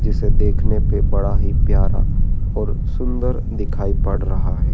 जिसे देखने पे बड़ा ही प्यारा और सुंदर दिखाई पड़ रहा है।